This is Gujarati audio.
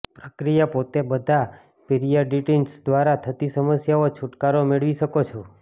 પ્રક્રિયા પોતે બધા પિરીયડન્ટિટિસ દ્વારા થતી સમસ્યાઓ છૂટકારો મેળવી શકો છો